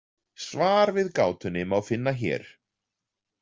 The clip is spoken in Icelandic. Svar við gátunni má finna hér.